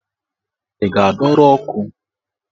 Ị ga-adọrọ ọkụ?